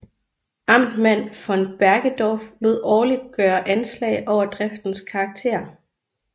Amtmand von Bergedorf lod årligt gøre anslag over driftens karakter